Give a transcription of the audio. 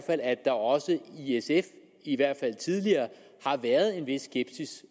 at der også i sf i hvert fald tidligere har været en vis skepsis